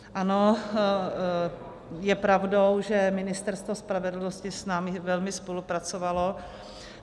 Ano, je pravdou, že Ministerstvo spravedlnosti s námi velmi spolupracovalo.